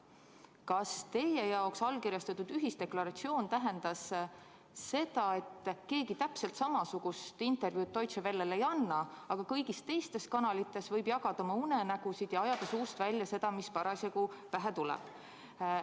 Kas teie jaoks tähendas allkirjastatud ühisdeklaratsioon seda, et keegi täpselt samasugust intervjuud Deutsche Wellele ei anna, aga kõigis teistes kanalites võib jagada oma unenägusid ja ajada suust välja seda, mis parasjagu pähe tuleb?